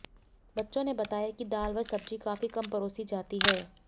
बच्चों ने बताया कि दाल व सब्जी काफी कम परोसी जाती है